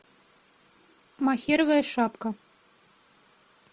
мохеровая шапка